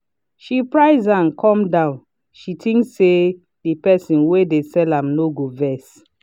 she price am come down she think say the person wey dey sell am no go vex